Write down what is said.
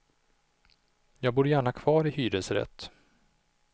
Jag bor gärna kvar i hyresrätt.